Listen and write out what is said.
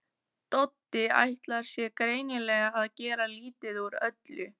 Doddi ætlar sér greinilega að gera lítið úr öllu.